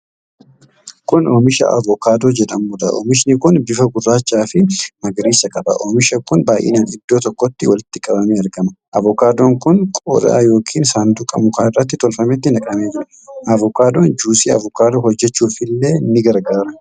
Kun oomisha avookaadoo jedhamudha. Oomishi kun bifa gurraacha fi magariisa qaba. Omiishi kun baay'inaan iddoo tokkotti walitti qabamee argama. Ovokaadoon kun qodaa yookiin saanduqa muka irra tolfametti naqamee jira. Avokaadoon juusii avokaadoo hojjachuufillee ni gargaara.